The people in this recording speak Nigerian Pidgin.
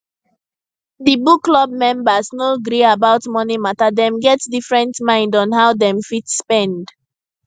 di book club members no gree about money mata dem get different mind on how dem fit spend